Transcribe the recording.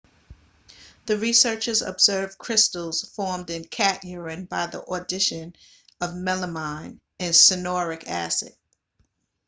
the researchers observed crystals formed in cat urine by the addition of melamine and cyanuric acid